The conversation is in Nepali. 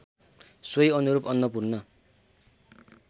सोही अनुरूप अन्नपूर्ण